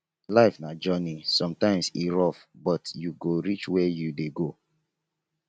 life na journey sometimes e rough but you go reach where you dey go